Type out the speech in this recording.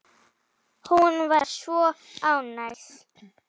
Hún var svo ánægð.